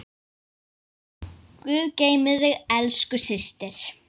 Guð geymi þig, elsku systir.